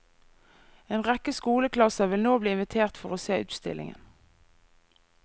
En rekke skoleklasser vil nå bli invitert for å se utstillingen.